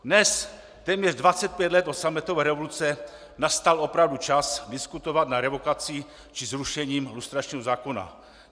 Dnes, téměř 25 let od sametové revoluce, nastal opravdu čas diskutovat nad revokací či zrušením lustračního zákona.